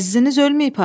Əziziniz ölməyib ha!